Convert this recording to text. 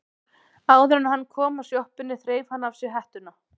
Áður en hann kom að sjoppunni þreif hann af sér hettuna.